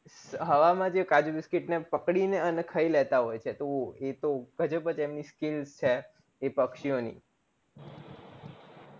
હવા માં જે કાજુ biscuit ને પકડીને અને ખય લેતા હોય છે એ તો ગજબજ એમની skill છે એ પક્ષી ઓની